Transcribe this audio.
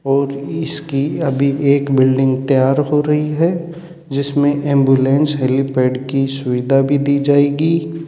और इसकी अभी एक बिल्डिंग तैयार हो रही है जिसमें एंबुलेंस हेलीपैड की सुविधा भी दी जाएगी।